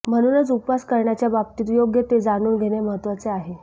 म्हणूनच उपवास करण्याच्या बाबतीत योग्य ते जाणून घेणे महत्त्वाचे आहे